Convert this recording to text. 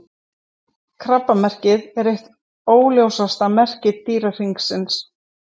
Krabbamerkið er eitt óljósasta merki Dýrahringsins.